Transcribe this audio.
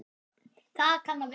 Það kann að vera